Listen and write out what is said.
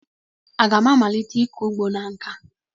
Aga m amalite ịkọ ugbo na nkà?